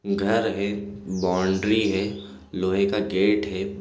--घर है बाउंड्री है लोहे का गेट है।